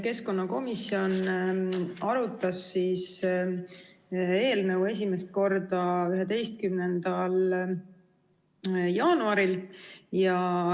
Keskkonnakomisjon arutas eelnõu esimest korda 11. jaanuaril.